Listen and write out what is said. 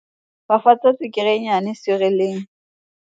fafatsa tswekere e nnyane sirieleng